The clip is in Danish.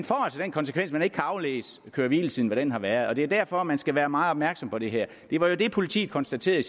konsekvens at man ikke kan aflæse hvad køre hvile tiden har været og det er derfor man skal være meget opmærksom på det her det var jo det politiet konstaterede